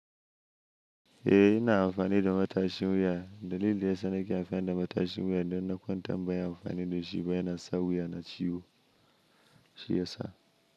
Eh, ina amfani da matashin wuya. Dalili da yasa nake amfani da matashin wuya idan na kwantar ban yi amfani da shi ba yana sa wuyana ciwo shi yasa.